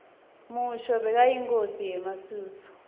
mushoeshoe bekayinkhosi yemasuthu